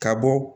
Ka bɔ